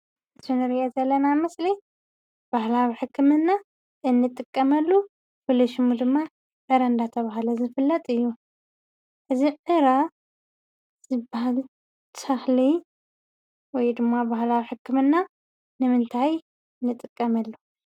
እዚ እንሪኦ ዘለና ምስሊ ባህላዊ ሕክምና እንጥቀመሉ ፍሉይ ሽሙ ድማ ዕረ እንዳተብሃለ ዝፍለጥ እዩ። እዚ ዕረ ዝብሃል ተኽሊ ወይ ድማ ባህላዊ ሕክምና ንምንታይ ንጥቀመሉ?